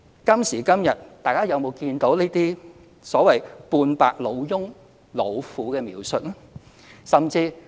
今時今日，大家還見到這些"半百老翁/老婦"的描述嗎？